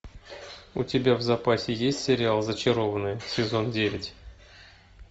у тебя в запасе есть сериал зачарованные сезон девять